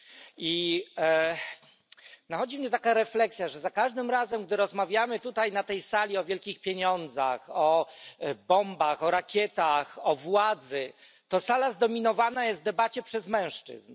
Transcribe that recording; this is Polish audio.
I nachodzi mnie taka refleksja, że za każdym razem, gdy rozmawiamy na tej sali o wielkich pieniądzach, o bombach, o rakietach, o władzy, to sala debata zdominowana jest przez mężczyzn.